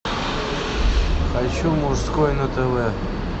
хочу мужской на тв